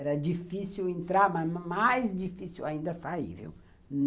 Era difícil entrar, mas mais difícil ainda sair, viu?